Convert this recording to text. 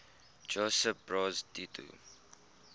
josip broz tito